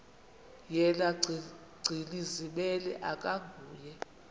yena gcinizibele akanguye